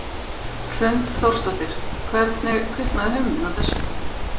Hrund Þórsdóttir: Hvernig kviknaði hugmyndin að þessu?